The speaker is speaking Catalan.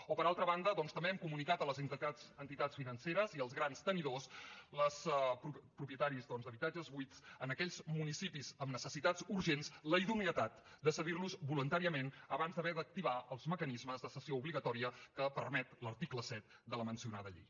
o per altra banda doncs també hem comunicat a les entitats financeres i als grans tenidors els propietaris d’habitatges buits en aquells municipis amb necessitats urgents la idoneïtat de cedirlos voluntàriament abans d’haver d’activar els mecanismes de cessió obligatòria que permet l’article set de la mencionada llei